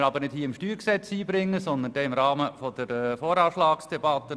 Diesen können wir aber nicht hier beim StG einbringen, sondern im Rahmen der VA-Debatte.